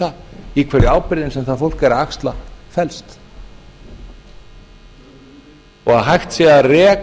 það í hverju ábyrgðin sem það fólk er að axla felst og að hægt sé